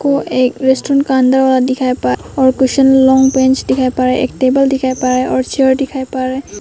वो एक रेस्टोरेंट का अंदर वाला दिखाई पड़ और और कुशन लॉन्ग बेंच दिखाई पड़ रहा है एक टेबल दिखाई पड़ रहा है और चेयर दिखाई पड़ रहा है।